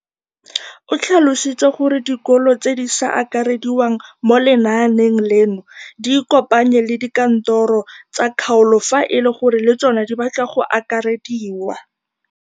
O tlhalositse gore dikolo tse di sa akarediwang mo lenaaneng leno di ikopanye le dikantoro tsa kgaolo fa e le gore le tsona di batla go akarediwa.